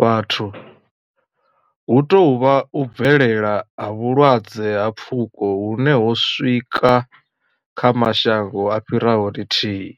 vhathu, hu tou vha u bvelela ha vhulwadze ha pfuko hune ho swika kha mashango a fhiraho lithihi.